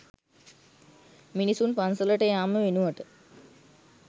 මිනිසුන් පන්සලට යාම වෙනුවට